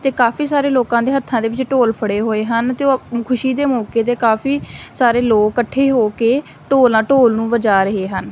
ਤੇ ਕਾਫੀ ਸਾਰੇ ਲੋਕਾਂ ਦੇ ਹੱਥਾਂ ਦੇ ਵਿੱਚ ਢੋਲ ਫੜੇ ਹੋਏ ਹਨ ਤੇ ਉਹ ਖੁਸ਼ੀ ਦੇ ਮੌਕੇ ਤੇ ਕਾਫੀ ਸਾਰੇ ਲੋਕ ਇਕੱਠੇ ਹੋ ਕੇ ਢੋਲ ਨਾਲ ਢੋਲ ਨੂੰ ਵਜਾ ਰਹੇ ਹਨ।